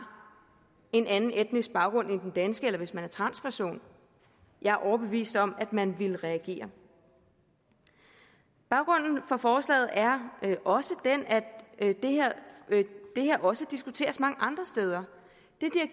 en anden etnisk baggrund end dansk eller hvis man var transperson jeg er overbevist om at man ville reagere baggrunden for forslaget er også den at det her også diskuteres mange andre steder